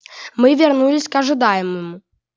мы вернулись к ожидающему